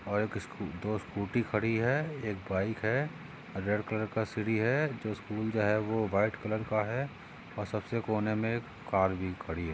और एक स्कू दो स्कूटी खड़ी है एक बाइक है रेड कलर की सीडी है जो स्कूल का है वो व्हाइट कलर का है और सबसे कोने मे एक कार भी खड़ी है।